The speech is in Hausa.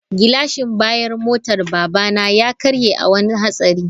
Gilashin bayan motar babana ya karye a wani hatsari.